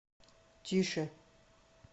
тише